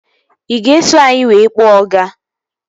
Ị ga-eso anyị wee kpọọ ọga?